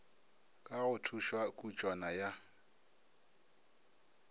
ka go thušwa kutšwana ya